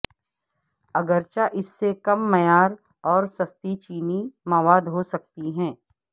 اگرچہ اس سے کم معیار اور سستی چینی مواد ہو سکتی ہے